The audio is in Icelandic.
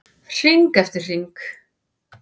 Hring eftir hring.